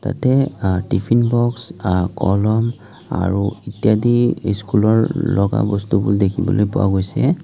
ইয়াতে আ tiffin box আ কলম আৰু ইত্যাদি স্কুলৰ লগা বস্তুবোৰ দেখিবলৈ পোৱা গৈছে।